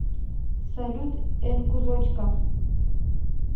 салют эннкузочка